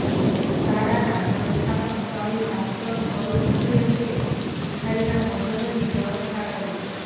શાળાના સંસ્થાપક સ્વામી ભાસ્કર સ્વરૂપજીએ તે ભિખારીના ભોજનની વ્યવસ્થા કરી